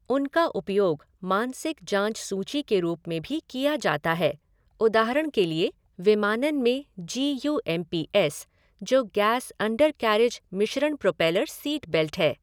उनका उपयोग मानसिक जाँच सूची के रूप में भी किया जाता है, उदाहरण के लिए विमानन में G U M P S, जो गैस अंडरकैरेज मिश्रण प्रोपेलर सीटबेल्ट है।